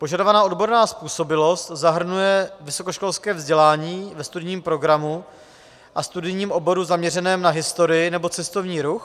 Požadovaná odborná způsobilost zahrnuje vysokoškolské vzdělání ve studijním programu a studijním oboru zaměřeném na historii nebo cestovní ruch.